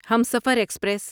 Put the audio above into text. Humsafar express